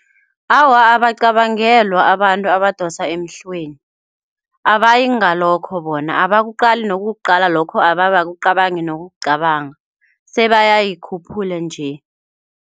Awa, abacabangelwa abantu abadosa emhlweni, abayingalokho bona abakuqali nokukuqala lokho, abe abakucabangi nokukucabanga sebayayikhuphula nje.